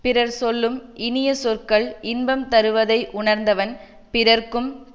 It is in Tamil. பிறர் சொல்லும் இனிய சொற்கள் இன்பம் தருவதை உணர்ந்தவன் பிறர்க்கும்